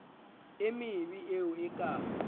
e mebe eo e ka